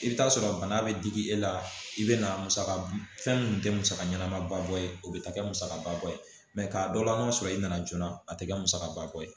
I bɛ taa sɔrɔ bana bɛ digi e la i bɛ na musaka fɛn minnu tɛ musaka ɲɛnamaba bɔ ye o bɛ ta kɛ musakaba bɔ ye k'a dɔ la an b'a sɔrɔ i nana joona a tɛ kɛ musakaba kɔ ye